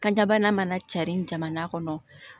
Kanjabana mana cari jamana kɔnɔ